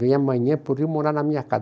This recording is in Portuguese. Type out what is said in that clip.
Vem amanhã pode ir morar na minha casa.